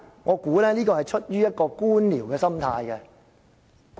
我猜這是出於官僚的心態。